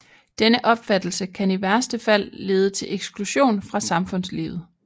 Denne opfattelse kan i værste fald lede til eksklusion fra samfundslivet